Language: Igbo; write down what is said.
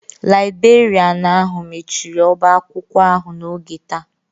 Laibrerịanu ahụ mechiri ọba akwụkwọ ahụ n'oge taa.